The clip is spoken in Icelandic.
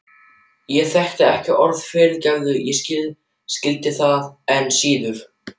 Ég þekkti ekki orðið fyrirgefðu og skildi það enn síður.